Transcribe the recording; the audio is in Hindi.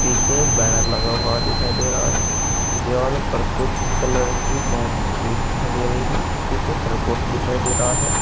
पीछे एक बैनर लगा हुआ दिखाई दे रहा है। दीवालों पर कुछ कलर की डोंट छपी हुई दिखाई दे रही है। पीछे खरगोश दिखाई दे रहा है।